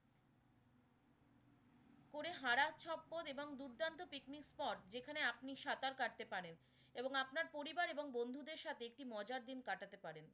করে এবং দুর্দান্ত picnic spot যেখানে আপনি সাঁতার কাটতে পারেন এবং আপনার পরিবার এবং বন্ধুদের সাথে একটি মজার দিন কাটাতে পারেন।